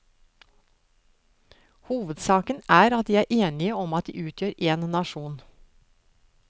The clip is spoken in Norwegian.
Hovedsaken er at de er enige om at de utgjør en nasjon.